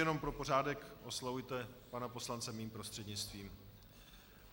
Jenom pro pořádek, oslovujte pana poslance mým prostřednictvím.